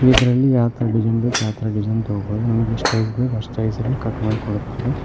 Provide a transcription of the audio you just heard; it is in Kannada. ಇದರಲ್ಲಿ ಯಾವ ತರ ಡಿಸೈನ್ ಬೇಕ್ ಆ ತರಾ ಡಿಸೈನ್ ತೊಗೊಬೋದು ನಮಗ ಎಷ್ಟ ಸೈಜ್ ಅಸ್ಟ್ ಸೈಜ್ ಅಲ್ಲಿ ಕಟ್ ಮಾಡಿ ಕೊಡುತ್ತಾರೆ.